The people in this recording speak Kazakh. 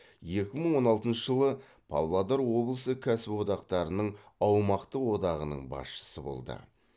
екі мың он алтыншы жылы павлодар облысы кәсіподақтарының аумақтық одағының басшысы болды